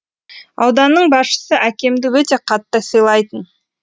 ауданның басшысы әкемді өте қатты сыйлайтын